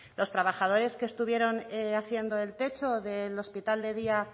los trabajadores que estuvieron haciendo el techo del hospital de día